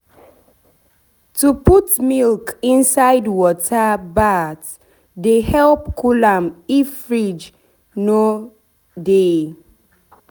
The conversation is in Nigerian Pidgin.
to put milk inside water bath dey help cool am if fridge no dey.